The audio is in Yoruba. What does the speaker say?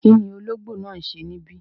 Kíni ọlọ́gbò náà ń ṣẹ̀ níbí?